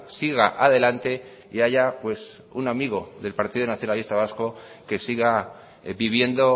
siga adelante y haya un amigo del partido nacionalista vasco que siga viviendo